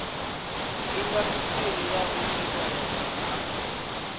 indasiṱiri ya u thetshelesa na